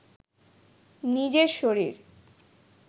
নিজের শরীর